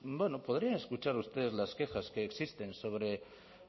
bueno podrían escuchar ustedes las quejas que existen sobre